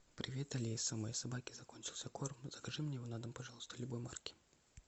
привет алиса у моей собаки закончился корм закажи мне его на дом пожалуйста любой марки